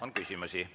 On küsimusi.